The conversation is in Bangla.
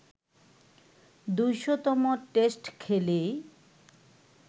২০০তম টেস্ট খেলেই